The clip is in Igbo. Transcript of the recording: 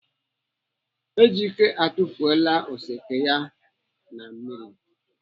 Ejike atufuola oseke ya na mmiri.